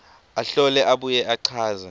ahlole abuye achaze